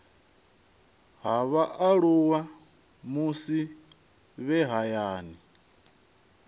ha vhaaluwa musi vhe hayani